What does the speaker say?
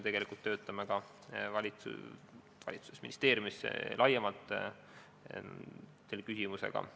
Me töötame valitsuses ja ministeeriumis selle küsimusega laiemalt.